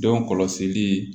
Denw kɔlɔsili